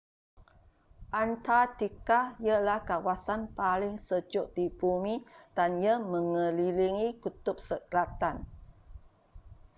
antartika ialah kawasan paling sejuk di bumi dan ia megelilingi kutub selatan